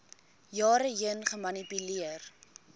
jare heen gemanipuleer